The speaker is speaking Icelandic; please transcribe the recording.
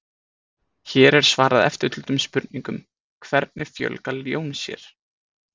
Hér er svarað eftirtöldum spurningum: Hvernig fjölga ljón sér?